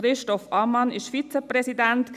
Christoph Ammann war letztes Jahr Vizepräsident.